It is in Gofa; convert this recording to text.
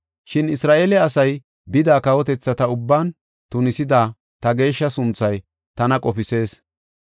Shin Isra7eele asay bida kawotethata ubban tunisida ta geeshsha sunthay tana qofisees.